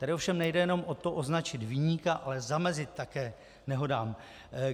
Tady ovšem nejde jenom o to, označit viníka, ale zamezit také nehodám.